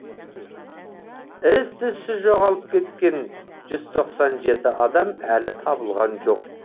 із түзсіз жоғалып кеткен жүз тоқсан жеті адам әлі табылған жоқ